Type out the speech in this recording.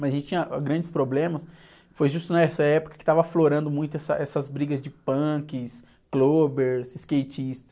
Mas a gente tinha grandes problemas, foi justo nessa época que estavam aflorando muito essa, essas brigas de punks, clubbers, skatistas.